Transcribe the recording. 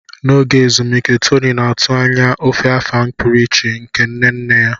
N'oge ezumike, Tony na-atụ anya ofe Afang pụrụ iche nke nne nne ya.